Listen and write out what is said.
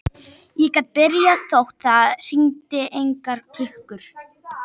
Ég get byrjað þótt það hringi engar klukkur.